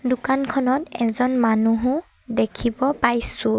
দোকানখনত এজন মানুহো দেখিব পাইছোঁ।